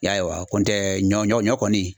Y'a ye wa ? kɔni tɛ ɲɔ ɲɔ kɔni